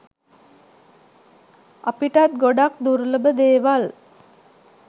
අපිටත් ගොඩක් දුර්ලභ දේවල්